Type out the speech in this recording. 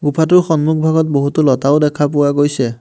গুফাটোৰ সন্মুখভাগত বহুতো লতাও দেখা পোৱা গৈছে।